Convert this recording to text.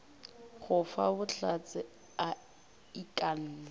go fa bohlatse a ikanne